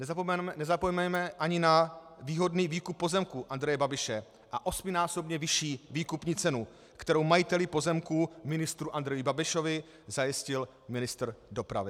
Nezapomeňme ani na výhodný výkup pozemků Andreje Babiše a osminásobně vyšší výkupní cenu, kterou majiteli pozemků ministru Andreji Babišovi zajistil ministr dopravy.